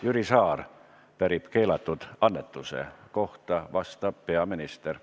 Jüri Saar pärib keelatud annetuste kohta, vastab peaminister.